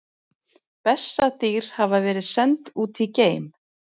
Bessadýr hafa verið send út í geim!